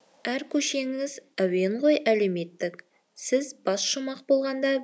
әр көшеңіз әуен ғой әлеуметтік сіз бас шумақ болғанда